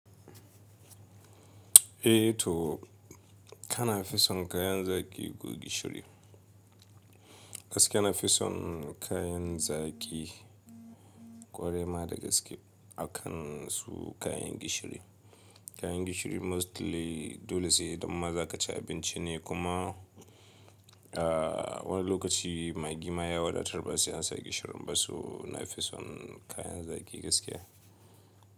Eh to kana fison kayan zaki ko gishiri? Gaskiya na fison kayan zaki ƙwarai ma da gaske akan su kayan gishiri. Kayan gishiri mostly dole sai don ma za ka ci abinci ne kuma, ah wani lokaci maggi ma ya wadatar ba sai an sa gishirin ba su na fi son kayan zaki gaskiya.